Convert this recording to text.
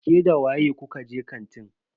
Ke da waye kuka je kantin?